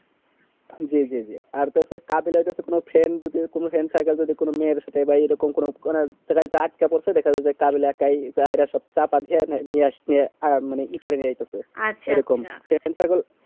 জি জি জি আর তাতে কাবিলা তে কোনো friend যদিও কোনো friend থাকে যদি কেন মেয়েদের সাথে বা এই রকম কোনো মানে সেটাই তো দেখা যাই যে কাবিলা একাই তাহেরে সব চাপা নিয়ে আসতে আহ আর মানে করে নিয়ে আসতেছে সেইরকম কেবল